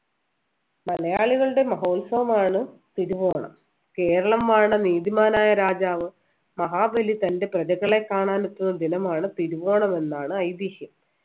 മലയാളികളുടെ മഹോത്സവമാണ് തിരുവോണം കേരളം വാണ നീതിമാനായ രാജാവ് മഹാബലി തൻ്റെ പ്രജകളെ കാണാൻ എത്തുന്ന ദിനമാണ് തിരുവോണം എന്നാണ് ഐതിഹ്യം